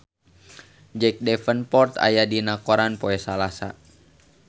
Jack Davenport aya dina koran poe Salasa